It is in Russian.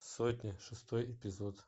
сотня шестой эпизод